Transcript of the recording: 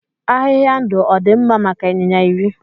Ahịhịa ndụ ọ dị mma maka ịnyịnya iri?